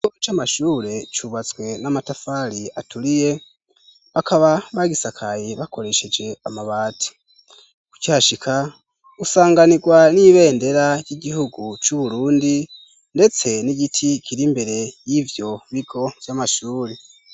Ikigo c'amashure c'ubatswe na matafari bakaba bagisakaye bakoresheje amabati ,ukihashika usanganirwa n'ibendera ry'Igihugu c'Uburundi, ndetse n'igiti kiri imbere yivyo bigo vy'amashuri.